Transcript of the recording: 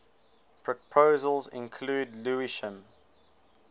proposals include lewisham